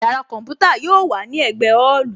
Yàrá kọ̀ḿpútà yóò wà ní ẹ̀gbẹ́ ọ́ọ̀lù